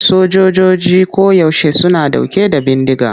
Sojojoji koyaushe suna ɗauke da bindiga.